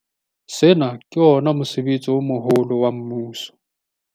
Sena ke ona mosebetsi o moholo wa mmuso.